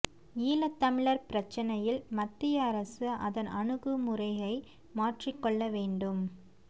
ஈழத்தமிழர் பிரச்சினையில் மத்திய அரசு அதன் அணுகுமுறையை மாற்றிக் கொள்ள வேண்டும்